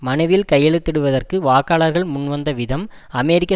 மனுவில் கையெழுத்திடுவதற்கு வாக்காளர்கள் முன்வந்த விதம் அமெரிக்க